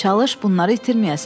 Çalış bunları itirməyəsən.